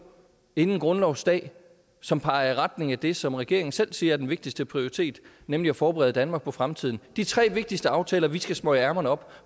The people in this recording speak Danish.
inden grundlovsdag som peger i retning af det som regeringen selv siger er den vigtigste prioritet nemlig at forberede danmark på fremtiden hvad de tre vigtigste aftaler vi skal smøge ærmerne op